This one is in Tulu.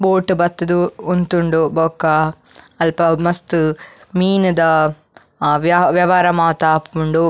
ಬೋಟ್ ಬತ್ತುದು ಉಂತುಂಡ್ ಬೊಕ ಅಲ್ಪ ಮಸ್ತ್ ಮೀನುದ ವ್ಯ ವ್ಯವಹಾರ ಮಾತ ಆಪುಂಡು.